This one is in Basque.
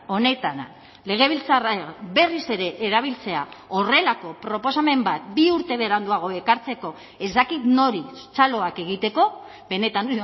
honetan legebiltzarra berriz ere erabiltzea horrelako proposamen bat bi urte beranduago ekartzeko ez dakit nori txaloak egiteko benetan